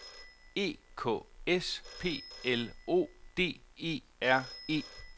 E K S P L O D E R E